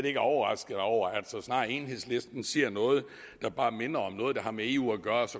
ikke overrasket over enhedslistens ser noget der bare minder om noget der har med eu at gøre